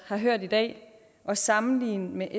har hørt i dag at sammenligne med